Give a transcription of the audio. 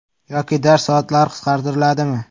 Yoki dars soatlari qisqartiriladimi?